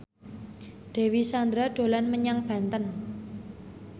Dewi Sandra dolan menyang Banten